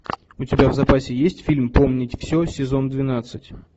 у тебя в запасе есть фильм помнить все сезон двенадцать